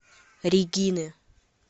регины